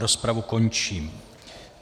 Rozpravu končím.